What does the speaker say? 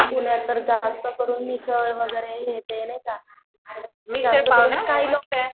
पुण्यतर जास्तकरून मिसळ वैगरे हे ते नाहीका